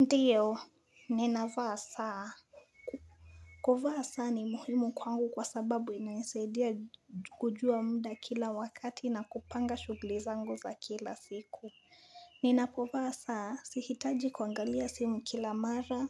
Ndiyo, ninavaa saa. Kufaa saa ni muhimu kwangu kwa sababu inaisaidia kujua muda kila wakati na kupanga shuguli zangu za kila siku. Ninapo vaa saa, sihitaji kuangalia simu kila mara,